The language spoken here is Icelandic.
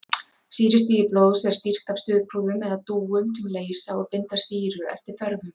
Sýrustigi blóðs er stýrt af stuðpúðum eða dúum sem leysa og binda sýru eftir þörfum.